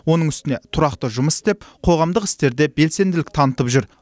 оның үстіне тұрақты жұмыс істеп қоғамдық істерде белсенділік танытып жүр